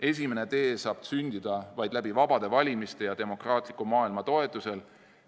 Esimene tee saab sündida vaid läbi vabade valimiste ja demokraatliku maailma toetusel.